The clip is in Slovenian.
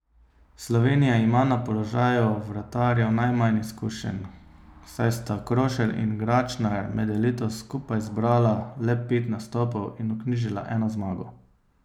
Slovenija ima na položaju vratarjev najmanj izkušenj, saj sta Krošelj in Gračnar med elito skupaj zbrala le pet nastopov in vknjižila eno zmago.